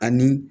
Ani